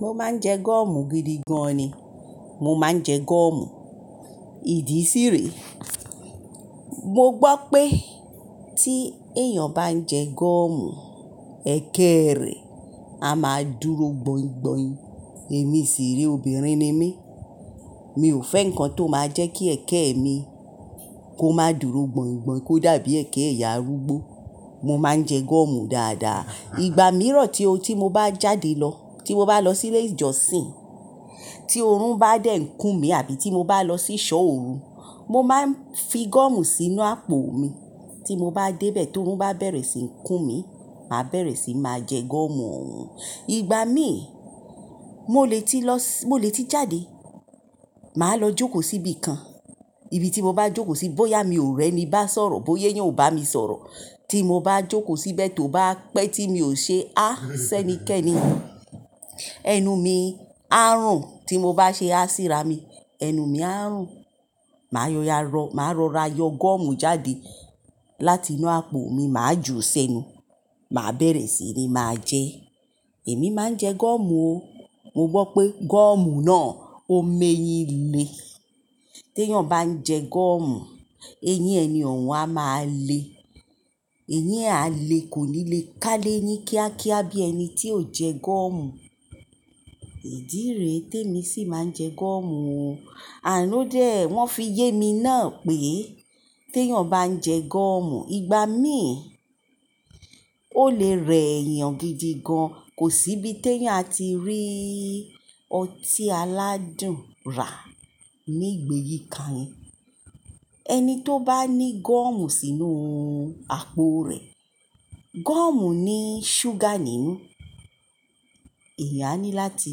Mo máa ń jẹ gọ́ọ̀mù gidi gan ni. Mo máa ń jẹ gọ́ọ̀mù. Ìdí sí rẹ, mo gbọ́ pé tí èèyàn bá ń jẹ gọ́ọ̀mù, ẹ̀kẹ rẹ̀ a máa dúró gbọ̀ǹgbọ̀ǹ. Èmi sí rí, obìnrin ni mí, mi ò fẹ́ nǹkan tó máa jẹ́ kí ẹ̀kẹ́ mi kó máa dúró gbọ̀ǹgbọ̀ǹ, kó dàbí ẹkẹ ẹ̀yà arúgbó. Mo máa ń jẹ gọ́ọ̀mù dáadáa. Ìgbà mìíràn tí o tí mo bá jáde lọ, tí mo bá lọ sí ile jọsìn, tí oorun bá dẹ́kun mi àbí tí mo bá lọ sí ṣọ́ oorun, mo máa ń fi gọ́ọ̀mù sínú àpò mi. Tí mo bá dé bẹ̀ tó oorun bá bẹ̀rẹ̀ sí ń kún mi, màá bẹ̀rẹ̀ sí máa jẹ gọ́ọ̀mù òun. Ìgbà míì, mo lè tí lọ si, mo lè tí jáde, màá lọ jókòó síbí kan. Ibi tí mo bá jókòó sí, bóyá mi ò rẹ́ mi bá sọ̀rọ̀, bóyé yàn ò bá mi sọ̀rọ̀. Tí mo bá jókòó síbẹ̀ tó bá pẹ́ tí mi ò ṣe, "á sẹ́ni kẹ́ni", ẹnu mi á rùn. Tí mo bá ṣe á síra mi, ẹnu mi á rùn. Màá rọra yọ gọ́ọ̀mù jáde láti inú àpò mi, màá ju sẹ́nu, màá bẹ̀rẹ̀ sí ní máa jẹ. Èmi máa ń jẹ gọ́ọ̀mù o. Mo gbọ́ pé gọ́ọ̀mù náà ó ń mẹ́yìn le. Tí èèyàn bá ń jẹ gọ́ọ̀mù, eyín ẹni òun á máa le. Eyín á le, kò ní le ká léyín kíákíá bí ẹni tí ò jẹ gọ́ọ̀mù. Ìdí rẹ tí èmi sì máa ń jẹ gọ́ọ̀mù o. And odé, wọ́n fi yé mi náà pé tí èèyàn bá ń jẹ gọ́ọ̀mù, ìgbà míì ó lè rẹ̀ èèyàn gidi gan. Kò sí bí tí èèyàn á ti rí ọtí aládùn ra ní gbèyi kan. Ẹni tó bá ní gọ́ọ̀mù sínú àpò rẹ̀, gọ́ọ̀mù ní ṣúgà nínú, ẹ̀yà á ní láti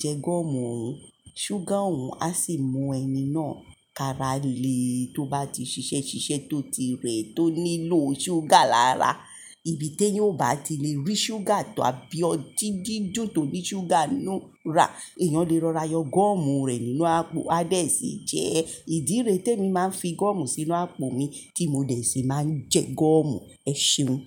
jẹ gọ́ọ̀mù òun. Ṣúgà òun á sì mú ẹni náà karalẹ́ tó bá ti ṣiṣẹ́ ṣiṣẹ́ tó ti rẹ̀ tó nílò ṣúgà lára. Ibi tí èèyàn ò bá ti le rí ṣúgà tọ àbí ọtí dídíjù tó ní ṣúgà nínú rà, èèyàn lè rọra yọ gọ́ọ̀mù rẹ̀ nínú àpò, á bẹ̀rẹ̀ sí jẹ ẹ. Ìdí rẹ tí èmi máa ń fi gọ́ọ̀mù sínú àpò mi tí mo dẹ̀ sì máa ń jẹ gọ́ọ̀mù, ẹ ṣéun.